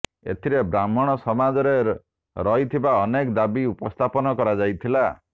ଏଥିରେ ବ୍ରାହ୍ମଣ ସମାଜରେ ରହିଥିବା ଅନେକ ଦାବି ଉପସ୍ଥାପନ କରାଯାଇଥିଲା